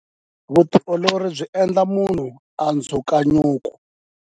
Vutiolori byi endla munhu a dzuka nyuku.